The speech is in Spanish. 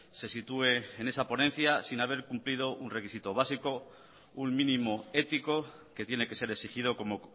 se situé en esa ponencia sin haber cumplido un requisito básico un mínimo ético que tiene que ser exigido como